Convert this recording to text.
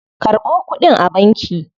Karɓo kuɗin a banki.